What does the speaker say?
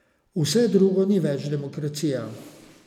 Vse drugo ni več demokracija.